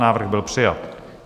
Návrh byl přijat.